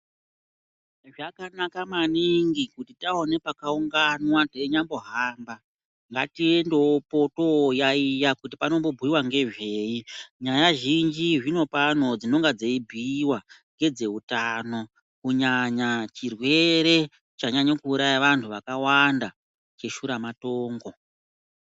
Zvakanaka maningi kuti taone pakaunganwa teinyambohamba ngatiendewopo toyaiya kuti panombobhuyiwa ngezvei. Nyaya zhinji zvino pano dzinonge dzeibhuyiwa ngedzeutano, kunyanya chirwere chanyanya kuuraya vantu vakawanda, cheshuramatongo.